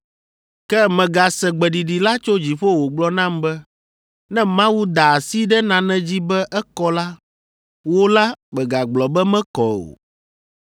“Ke megase gbeɖiɖi la tso dziƒo wògblɔ nam be, ‘Ne Mawu da asi ɖe nane dzi be ekɔ la, wò la, mègagblɔ be mekɔ o!’